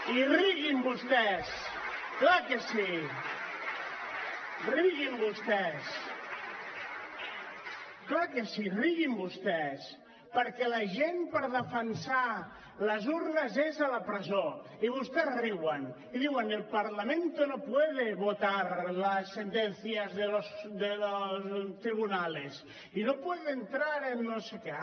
i riguin vostès clar que sí riguin vostès clar que sí riguin vostès perquè la gent per defensar les urnes és a la presó i vostès riuen i diuen el parlamento no puede votar las sentencias de los tribunales y no puede entrar en no sé qué